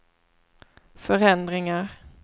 förändringar